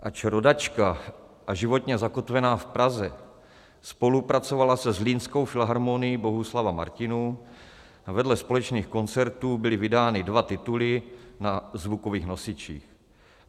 Ač rodačka a životně zakotvená v Praze, spolupracovala se zlínskou Filharmonií Bohuslava Martinů a vedle společných koncertů byly vydány dva tituly na zvukových nosičích.